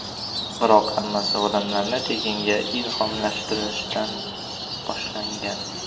Biroq hammasi odamlarni tekinga ilhomlantirishdan boshlangan.